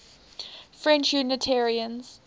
french unitarians